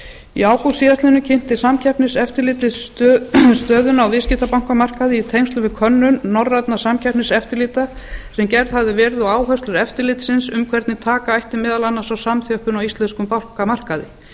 í ágúst síðastliðnum kynnti samkeppniseftirlitið stöðuna á viðskiptabankamarkaði í tengslum við könnun norrænna samkeppniseftirlita sem gerð hafði verið og áherslur eftirlitsins um hvernig taka ætti meðal annars á samþjöppun á íslenskum bankamarkaði